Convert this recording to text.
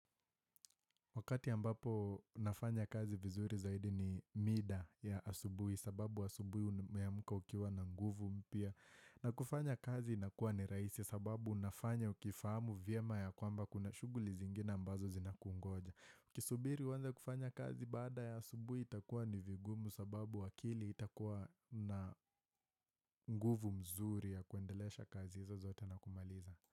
Wakati ambapo nafanya kazi vizuri zaidi ni mida ya asubuhi sababu asubuhi umeamka ukiwa na nguvu mpya. Na kufanya kazi inakuwa ni rahisi sababu unafanya ukifahamu vyema ya kwamba kuna shuguli zingine ambazo zinakungoja. Ukisubiri uanze kufanya kazi baada ya asubuhi itakuwa ni vigumu sababu akili itakuwa na nguvu mzuri ya kuendelesha kazi hizo zote na kumaliza.